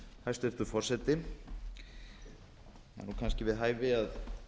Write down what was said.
hæstvirtur forseti það er kannski við hæfi að